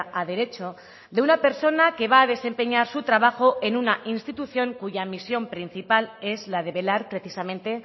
a derecho de una persona que va a desempeñar su trabajo en una institución cuya misión principal es la de velar precisamente